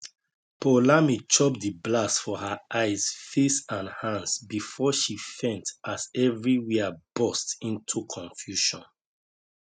poulami chop di blast for her eyes face and hands bifor she faint as evriwia burst into confusion